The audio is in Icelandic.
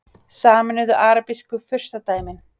Sameinuðu arabísku furstadæmin